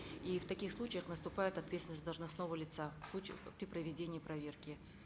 и в таких случаях наступает ответственность должностного лица в случаях при проведении проверки